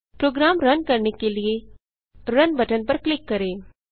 programme run करने के लिए रुन बटन पर क्लिक करें